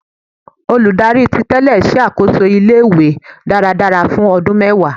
Oludari titele ṣakoso ile-iwe daradara fun ọdun mẹwa